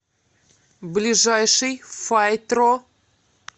ближайший файтро